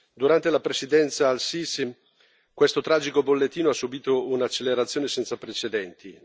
Durante la presidenza di El Sisi questo tragico bollettino ha subito un'accelerazione senza precedenti.